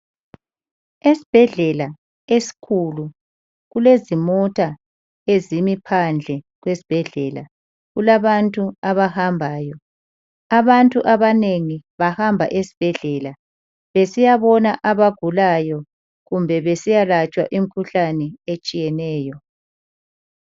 Esibhedlela esikhulu kulezimota ezimi phandle esibhedlela. Kulabantu abahambayo. Abantu abanengi bahamba esibhedlela besiyabona abagulayo kumbe besiyalatshwa imikhuhlane etshiyeneyo.